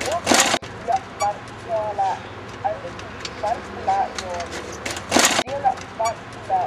dɔɔ kaŋa su la kpar sɔɔlaa a su kpar pelaa dɔgele o seɛ kpar pelaa